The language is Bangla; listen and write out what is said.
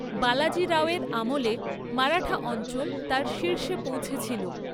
বালাজি রাও এর আমলে মারাঠা অঞ্চল তার শীর্ষে পৌঁছেছিল।